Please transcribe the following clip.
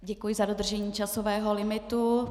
Děkuji za dodržení časového limitu.